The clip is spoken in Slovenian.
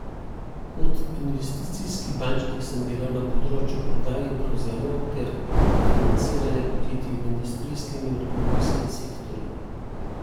Kot investicijski bančnik sem delal na področju prodaj in prevzemov ter financiranja podjetij v industrijskem in avtomobilskem sektorju.